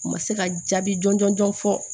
U ma se ka jaabi jɔn jɔn jɔn fɔ